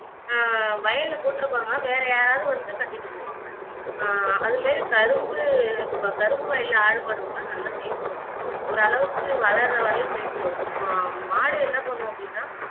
ஆஹ் வயல்ல போட்டு இருப்பாங்க வேற யாராவது வந்து கட்டிட்டு போவாங்க ஆஹ் அது மாதிரி கரும்பு கரும்பு வயல்ல ஆடு மாடு விட்டாலும் நல்லா மேய்ந்துவிடும் ஓரளவுக்கு வளர வளி மேஞ்சிடும் மா மாடு என்ன பண்ணும் அப்படின்னா